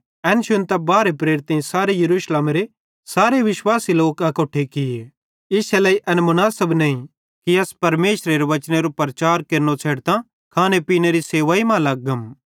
एन शुन्तां बारहे प्रेरितेईं सारे यरूशलेमेरे सारे विश्वासी लोक चेले अकोट्ठे किये ते ज़ोवं इश्शे लेइ एन मुनासब नईं कि अस परमेशरेरी वचनेरू प्रचार केरनो छ़ेडतां खाने पीनेरी सेवाई मां लग्गम